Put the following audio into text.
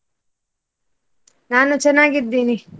ನಾನು ಚೆನ್ನಾಗಿದ್ದೀನಿ.